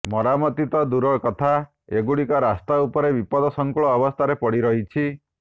ମରାମତି ତ ଦୂର କଥା ଏଗୁଡ଼ିକ ରାସ୍ତା ଉପରେ ବିପଦସଙ୍କୁଳ ଅବସ୍ଥାରେ ପଡି ରହିଛି